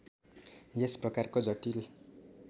यस प्रकारको जटिल